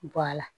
Bɔ a la